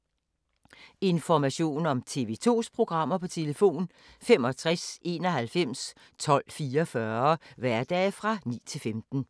Information om TV 2's programmer: 65 91 12 44, hverdage 9-15.